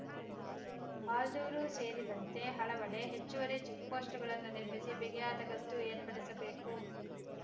ಆಲ್ದೂರು ಸೇರಿದಂತೆ ಹಲವೆಡೆ ಹೆಚ್ಚುವರಿ ಚೆಕ್‌ಪೋಸ್ಟ್‌ಗಳನ್ನು ನಿರ್ಮಿಸಿ ಬಿಗಿಯಾದ ಗಸ್ತು ಏರ್ಪಡಿಸಬೇಕು